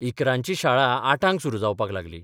इकरांची शाळा आठांक सुरू जावपाक लागली.